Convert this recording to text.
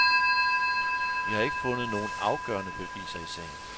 Vi har ikke fundet nogle afgørende beviser i sagen.